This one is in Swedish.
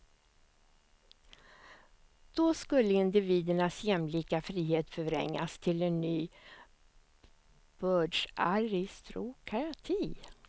Då skulle individernas jämlika frihet förvrängas till en ny bördsaristokrati.